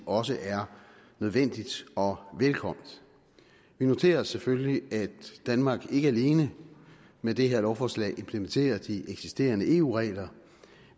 også er nødvendigt og velkomment vi noterer os selvfølgelig at danmark ikke alene med det her lovforslag implementerer de eksisterende eu regler